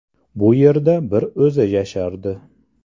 Bu yerda bir o‘zi yashardi.